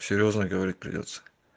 серьёзно говорить придётся